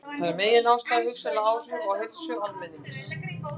Þar er meginástæðan hugsanleg áhrif á heilsu almennings.